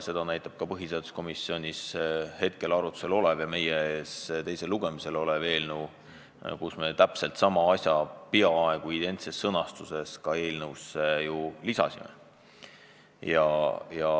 Seda näitab ka põhiseaduskomisjonis arutlusel olev ja meie ees teisel lugemisel olev eelnõu, millesse me sama ettepaneku peaaegu identses sõnastuses lisasime.